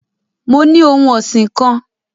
Mo ni ohun ọsin kan